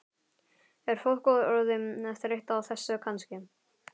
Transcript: Er fólk orðið þreytt á þessu kannski?